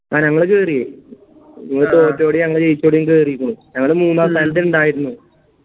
ആ ഞങ്ങള് കേറി നിങ്ങള് തൊറ്റോരും ഞങ്ങ ജയിച്ചോരും കേറിക്ക്ണു ഞങ്ങള് മൂന്നാം സ്ഥാനത്ത് ഇണ്ടായിരുന്നു